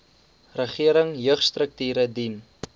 regering jeugstrukture dien